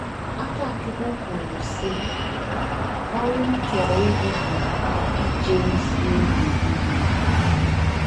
Akachukwu kwuru, sị, “ Ọrụ m chọrọ ịrụ bụ ije ozi oge nile.